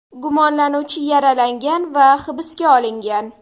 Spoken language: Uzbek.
Gumonlanuvchi yaralangan va hibsga olingan.